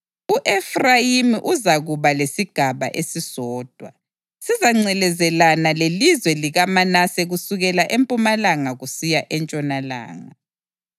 U-Efrayimi uzakuba lesigaba esisodwa; sizangcelezelana lelizwe likaManase kusukela empumalanga kusiya entshonalanga.